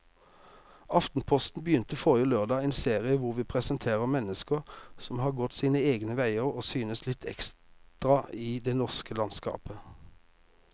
Aftenposten begynte forrige lørdag en serie hvor vi presenterer mennesker som har gått sine egne veier og synes litt ekstra i det norske landskapet.